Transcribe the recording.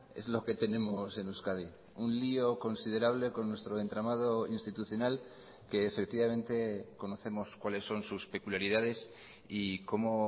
es lo que tenemos en euskadi un lío considerable con nuestro entramado institucional que efectivamente conocemos cuáles son sus peculiaridades y como